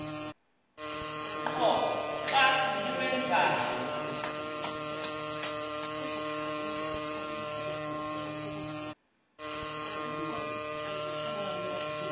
qho xa niwenzayo